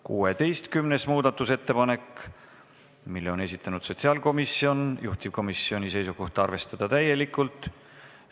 16. muudatusettepaneku on esitanud sotsiaalkomisjon, juhtivkomisjoni seisukoht on arvestada seda täielikult.